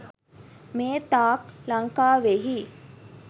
මේ තාක් ලංකාවෙහි